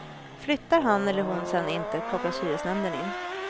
Flyttar han eller hon sedan inte kopplas hyresnämnden in.